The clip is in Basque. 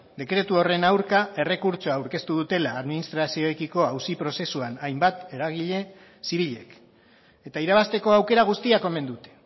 dekretu horren aurka errekurtsoa aurkeztu dutela administrazioarekiko auzi prozesuan hainbat eragile zibilek eta irabazteko aukera guztiak omen dute